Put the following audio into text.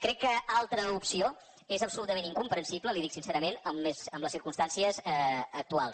crec que una altra opció és absolutament incomprensible li ho dic sincerament en les circumstàncies actuals